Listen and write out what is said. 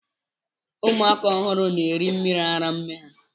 Ụmụ aka ọhụrụ na eri mmiri ara nne ha.